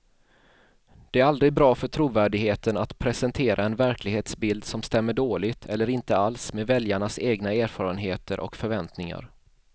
Det är aldrig bra för trovärdigheten att presentera en verklighetsbild som stämmer dåligt eller inte alls med väljarnas egna erfarenheter och förväntningar.